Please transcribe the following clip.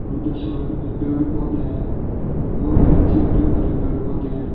उधर साइड में पेड़ पौधे हैं और भी अच्छे हरे भरे पेड़ पौधे हैं।